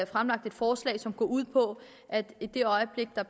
fremlagt et forslag som går ud på at i det øjeblik der